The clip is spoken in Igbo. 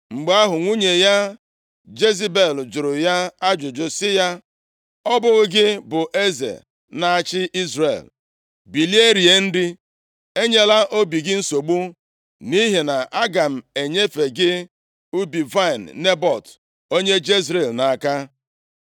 Mgbe ahụ, nwunye ya Jezebel jụrụ ya ajụjụ sị ya, “Ọ bụghị gị bụ eze na-achị Izrel? Bilie, rie nri, enyela obi gị nsogbu, nʼihi na aga m enyefe gị ubi vaịnị Nebọt onye Jezril nʼaka.”